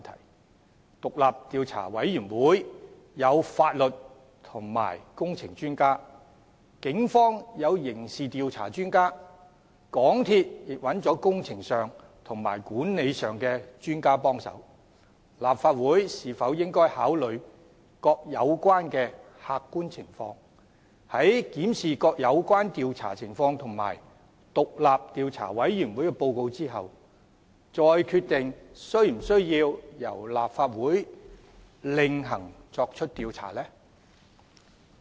然而，獨立調查委員會有法律及工程專家，警方有刑事調查專家，港鐵公司亦找了工程和管理專家協助，立法會是否應該考慮各有關的客觀情況，在檢視各有關調查情況及獨立調查委員會報告後，再決定是否需要由其另行作出調查？